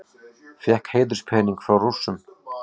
Fékk heiðurspening frá Rússum